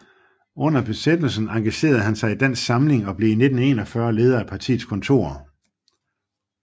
Under Besættelsen engagerede han sig i Dansk Samling og blev i 1941 leder af partiets kontor